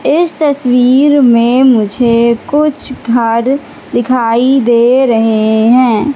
इस तस्वीर में मुझे कुछ घर दिखाई दे रहे हैं।